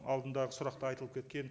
алдындағы сұрақта айтылып кеткен